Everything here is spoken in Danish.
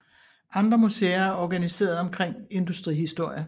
Andre museer er organiseret omkring industrihistorie